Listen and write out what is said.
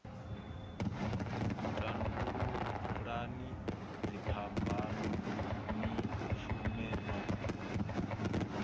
tandululani dziphambano ni shume no